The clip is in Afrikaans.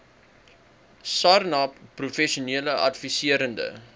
sarnap professionele adviserende